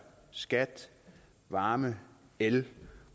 skat varme el